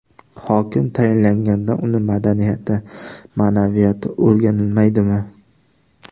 Hokim tayinlanganda uning madaniyati, ma’naviyati o‘rganilmaydimi?